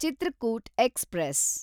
Chitrakoot express